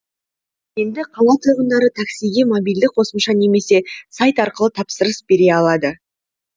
енді қала тұрғындары таксиге мобильді қосымша немесе сайт арқылы тапсырыс бере алады